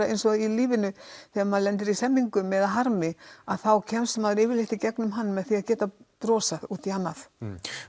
eins og í lífinu þegar maður lendir í hremmingum eða harmi kemst maður yfirleitt í gegnum hann með því að geta brosað út í annað